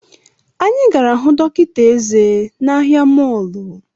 Anyị jere hụ dọkịta eze n’ahia mọlụ